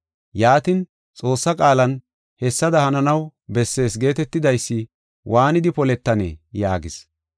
Yaatin, Xoossaa qaalan hessada hananaw bessees geetetidaysi waanidi poletanee?” yaagis.